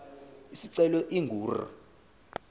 isicelo ingu r